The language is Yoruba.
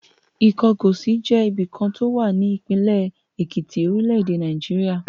Ìkọgòsì jẹ́ ibìkan tí ó wà ní ìpínlẹ̀ Èkìtì, orílẹ̀-èdè Nàìjíríà.